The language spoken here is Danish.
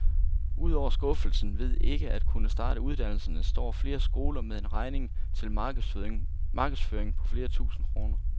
Udover skuffelsen ved ikke at kunne starte uddannelserne står flere skoler med en regning til markedsføring på flere tusind kroner.